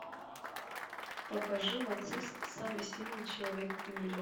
покажи мацист самый сильный человек в мире